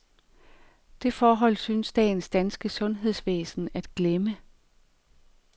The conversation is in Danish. Det forhold synes dagens danske sundhedsvæsen at glemme.